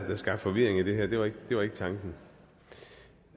sådan